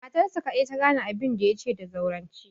Matarsa kaɗai ta gane abinda ya ce da zaurance.